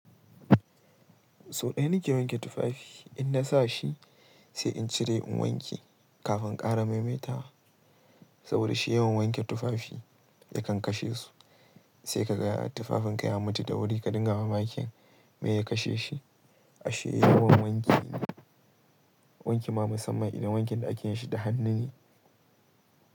Sau ɗaya nake wanke tufafi, in na sa shi sai in cire in wanke, kafin in ƙara maimaita wa. Saboda shi yawan wanke tufafi yakan kashe su. Sai ka ga tufafinka ya mutu da wuri ka dinga ba mamakin me ya kashe shi. Ashe yawan wanki ne. Wanki ma musamman idan wankin da ake yi shi da hannu ne.